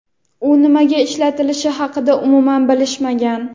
u nimaga ishlatilishi haqida umuman bilishmagan.